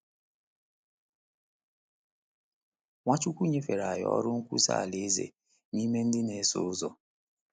Nwachukwu nyefere anyị ọrụ nkwusa Alaeze na ime ndị na-eso ụzọ.